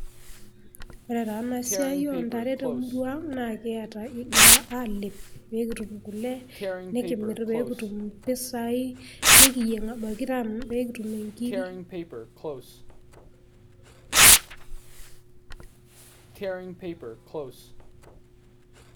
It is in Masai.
Ore taa ena siai oo ntare temurua ang', naa kiata kingirra aalep pee kitum kule nikimir pee kitum impisai nikiyieng pee kitumie inkirri.